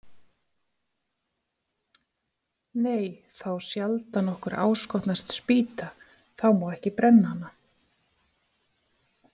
Nei, þá sjaldan okkur áskotnast spýta, þá má ekki brenna hana.